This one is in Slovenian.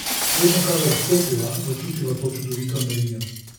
Vedno kadar vstopiva, začutiva to čudovito energijo.